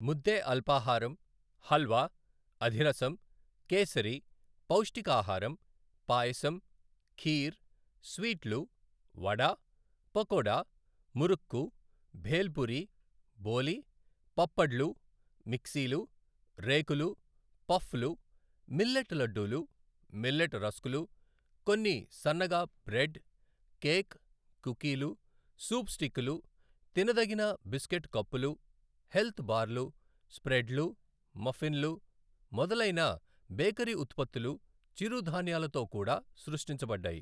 ముద్దే అల్పాహారం, హల్వా, అధిరసం, కేసరి, పౌష్టికాహారం, పాయసం ఖీర్ స్వీట్లు, వడ, పకోడా, మురుక్కు, భేల్పూరి, బోలి, పప్పడ్లు, మిక్సీలు, రేకులు, పఫ్లు, మిల్లెట్ లడ్డూలు, మిల్లెట్ రస్క్లు కొన్ని సన్నగా బ్రెడ్, కేక్, కుకీలు, సూప్ స్టిక్లు, తినదగిన బిస్కెట్ కప్పులు, హెల్త్ బార్లు, స్ప్రెడ్లు, మఫిన్లు మొదలైన బేకరీ ఉత్పత్తులు చిరుధాన్యాలతో కూడా సృష్టించబడ్డాయి.